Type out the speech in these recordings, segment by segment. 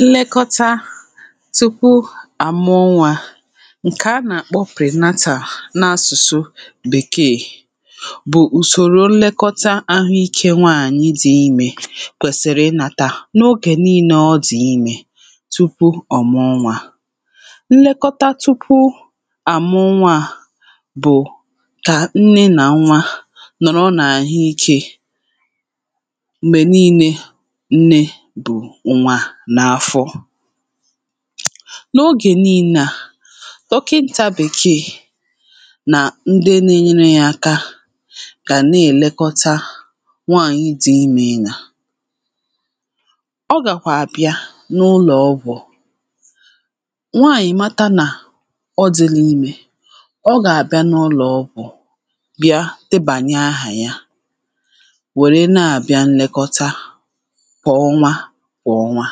nlekọta tupu àmụọ nwȧ ǹkè a nà-àkpọ prìnatàa n’asụ̀sụ bèkeè bụ̀ ùsòrò nlekọta ahụ ikė nwaànyị dì imė kwèsìrì ịnȧtà n’ogè niilė ọ dì imė tupu ọ̀muọ nwȧ. nlekọta tupu àmụọ nwȧ à bụ̀ kà nne nà nwaa nọ̀rọ n’àhụ ikė[paues]mgbe niile nne bụ nwa na afọọ.n’ogè nị̇lle a dọkịnta bèkeè nà ndị nȧ-ėnyerė ya aka gà na-èlekọta um nwaànyị̀ dị̀ imė ịnȧ [paues]ọ gàkwà àbịa n’ụlọ̀ ọgwụ̀ nwaànyị̀ mata nà ọ dila imė ọ gà-àbịa n’ụlọ̀ ọgwụ̀ bịa debànye aha ya nwere na abịa nlekọta kwa ọnwa kwa ọnwa.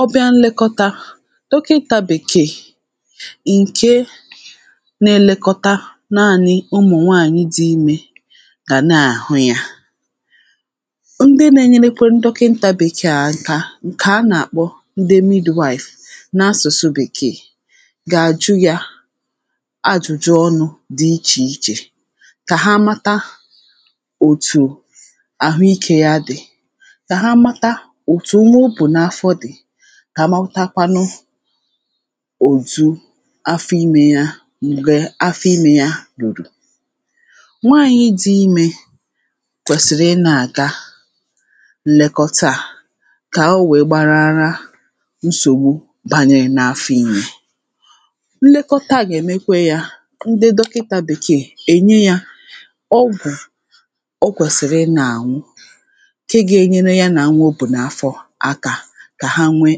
ọbịa nlẹkọta dọkịnta bèkee ǹkẹ nà-ẹlẹkọta naanị ụmụ̀nwaanyị dị imẹ gà nà-àhụ yȧ.ndị nȧ-ẹnyẹlẹkwẹnu dokinta bekẹ̀a ǹkẹ̀ a nà-àkpọ ndị midwife n’asụ̀sụ bèkee gà-àjụ yȧ um ajụ̀jụ ọnụ̇ dị ichè ichè kà ha mata um òtù àhụ ikė ya dị̀, ka ha mata ọtú nwa obu n'afọ dị, kà amàatakwanụ [paues]òtu afọ imė ya mgbè afọ imė ya rùrù. nwaànyị̇ dị̇ imė kwèsìrì ịnȧ-àga nlèkọta à kà owè gbarara nsògbu bànyèrè n’afọ imė. nlekọta à gà-èmekwe yȧ ndị dọkịtȧ bèkeè ènye yȧ ọgwụ̀ ọ kwèsìrì ịnȧ-àñụ nke ga enyere ya na nwa obu n'afọ aka kà ha nwee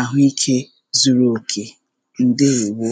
àhụikė zuru òkè ǹdeèwo